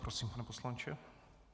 Prosím, pane poslanče.